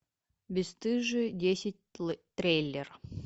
бесстыжие десять трейлер